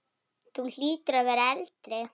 Þú hlýtur að vera eldri!